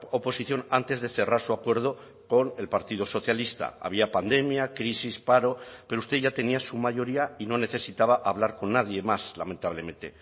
oposición antes de cerrar su acuerdo con el partido socialista había pandemia crisis paro pero usted ya tenía su mayoría y no necesitaba hablar con nadie más lamentablemente